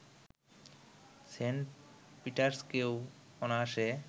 Saint পিটার্সকেও অনায়াসে